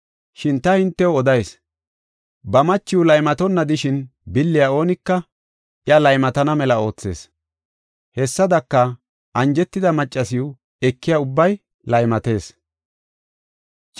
Shin ta hintew odayis; ba machiya laymatonna de7ishin billiya oonika iya laymatana mela oothees. Hessadaka, anjetida maccasiw ekiya ubbay laymatees.